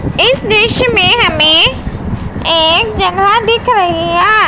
इस दृश्य में हमें एक जगह दिखया।